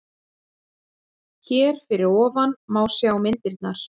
Hér fyrir ofan má sjá myndirnar